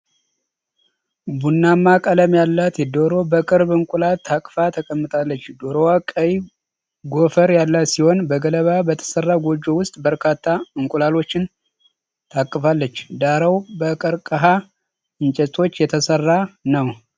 ቡናማ ቀለም ያላት ዶሮ በቅርብ እንቁላል ታቅፋ ተቀምጣለች። ዶሮዋ ቀይ ጎፈር ያላት ሲሆን፣ በገለባ በተሠራ ጎጆ ውስጥ በርካታ እንቁላሎችን ታቅፋለች። ዳራው በቀርከሃ እንጨቶች የተሠራ ነው፡፡